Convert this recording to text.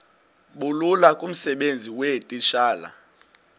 bulula kumsebenzi weetitshala